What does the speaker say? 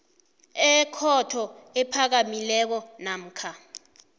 ekhotho ephakamileko namkha